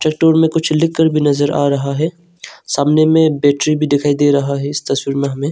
मे कुछ लिखकर भी नजर आ रहा है सामने में बैटरी भी दिखाई दे रहा है इस तस्वीर में हमें।